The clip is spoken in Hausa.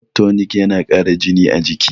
blood tonic yana Kara jini a jiki